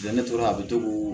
ne tora a bɛ to k'o